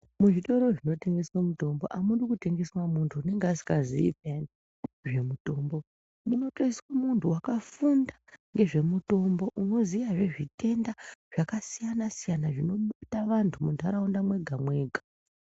Muzvitoro zvinotengeswa mitombo amudi kutengeswa muntu unenge asingaziyi peyani zvemutombo munotoiswe muntu wakafunda ngezvemutombo unoziyazve zvitenda zvakasiyana siyana zvinobata vantu mundaraunda mega mega